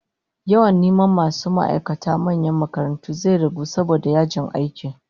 Yawan masu neman aiki a manyan makarantu zai ragu saboda yajin aiki